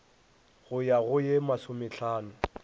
go ya go ye masomehlano